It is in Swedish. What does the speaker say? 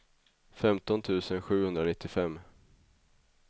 femton tusen sjuhundranittiofem